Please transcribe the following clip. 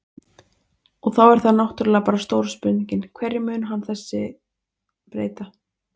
Og þá er það náttúrulega bara stóra spurningin, hverju mun hann þessi breyta?